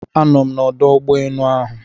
Anọ m n'ọdụ ụgbọ enu ahụ